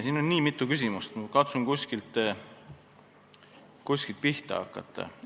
Siin oli nii mitu küsimust, ma katsun kuskilt pihta hakata.